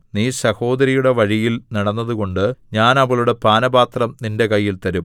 നീ സഹോദരിയുടെ വഴിയിൽ നടന്നതുകൊണ്ട് ഞാൻ അവളുടെ പാനപാത്രം നിന്റെ കയ്യിൽ തരും